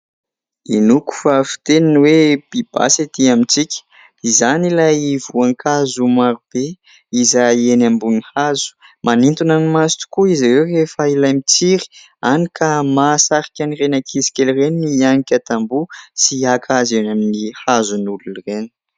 Hinoako fa fiteny ny hoe "pibasy" etỳ amintsika, izany ilay voankazo marobe izay eny ambon'ny hazo, manintona ny maso tokoa izy ireo rehefa ilay mitsiry hany ka mahasarika an' ireny ankizikely ireny ny hianika tamboho sy haka azy eny amin'ny hazon'n'olona ireny.